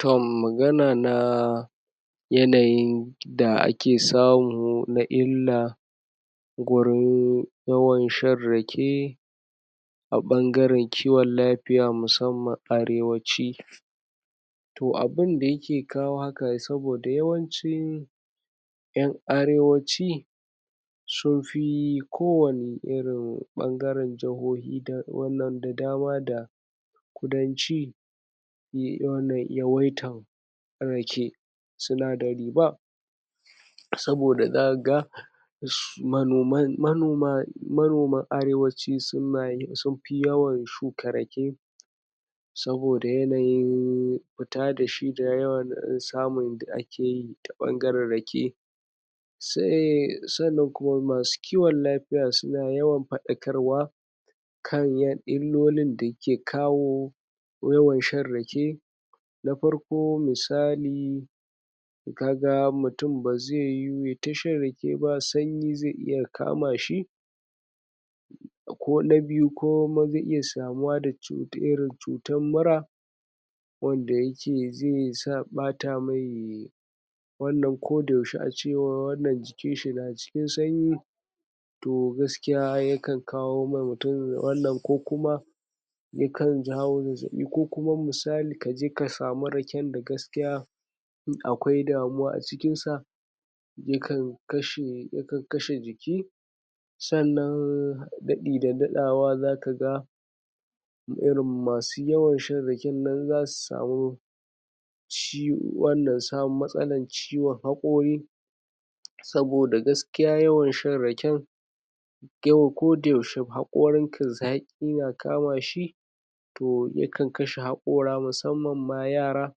Tom magana na yanayin da ake samu na inna gurin yawan shan rake aɓan garan kiwon lafiya fiya musamman arewaci to abin da yake kawo ha ka saboda yawancin ƴan arewaci sunfi kowane irin ɓangaran jahohi da wannan da dama da kudannci yay wannan yawaitan rake sundari ba saboda zakaga su manoman manoma manoman arewaci sunayin sun fi yawan shuka rake saboda yanayin fita dashi da yawan samun da a keyi ta ɓangaran rake se sannan kuma masu kiwon lafiya suna yawan fa ɗa karwa kan yada illolin da ke kawo yawan shan rake na farko misali to kaga mutun baze yuwu yay ta shan rakeba kamashi kona biyu ko ma ze iya samuwa da wata irin cutan mura wanda yake zesa ɓata mai wannan ko yaushe acewan wannan jikinshi najikin sanyi to gaskiya yakan kawoma mu tun wannan kokuma yakan jawo zazzaɓi ko kuma misalin kaje kasamu raken da gaskiya akwai damuwa acikin sa yaka kashe, yakan kashe jiki sannan daɗi da daɗawa zaka ga irin masu yawan shan rake raken nan zasu samu shi wannan sama matsalan ciwon haƙori saboda gas kiya yawan shan raken yawa koda yaushe haƙorin da zaƙina kamashi to yakan kashe haƙo ƙora musamman ma yara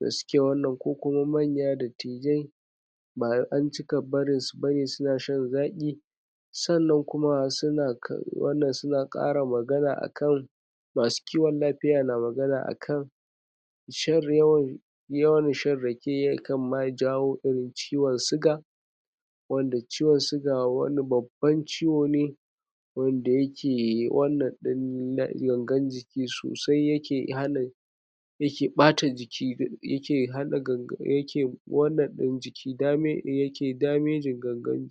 da suke wannan ko kuma manya dadtijai ba anci barin bari suna shan zaƙi sannan kuma suna suna wannan suna ƙara magana akan masu kiwan la fiya na magana akan shan yawan yawan shan ra ke yakan ma jawo irin ciwon suga wanda ciwon suga wani babu wani ciwo ne wanda yake wannan gan gan jiki yake sosai yake hana yake ɓata jiki haɗa gangan yake wannan ɗin jiki dame yake dameji gangan